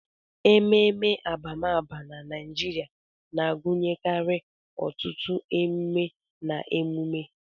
Ememe abamaba na Naijiria na-agụnyekarị ọtụtụ emume na emume.